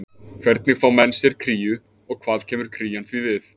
Hvernig fá menn sér kríu og hvað kemur krían því við?